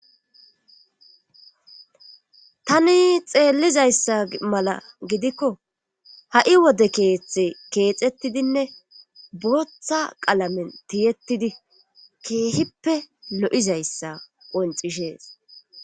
tani xeellizayssa mala gidikko ha7i wode keeththe keexettidinne booththa qalamen tiyettidi keehippe lo7izayssa qoncishees